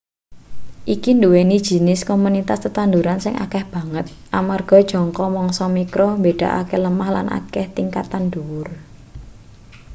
iki nduweni jinis komunitas tetanduran sing akeh banget amarga jangka mangsa mikro mbedakake lemah lan akeh tingkatan dhuwur